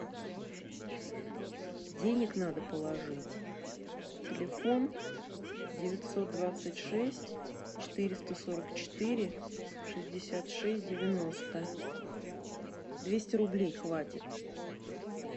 денег надо положить телефон девятьсот двадцать шесть четыреста сорок четыре шестьдесят шесть девяносто двести рублей хватит